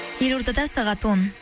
елордада сағат он